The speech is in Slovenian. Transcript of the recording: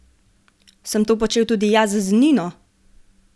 Sem to počel tudi jaz z Nino?